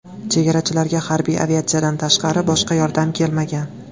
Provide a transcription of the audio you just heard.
Chegarachilarga harbiy aviatsiyadan tashqari boshqa yordam kelmagan.